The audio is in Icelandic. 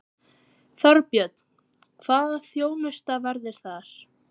Þorbjörn: Hvaða þjónusta verður það?